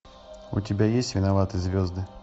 у тебя есть виноваты звезды